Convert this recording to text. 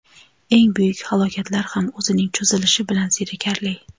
Eng buyuk halokatlar ham o‘zining cho‘zilishi bilan zerikarli.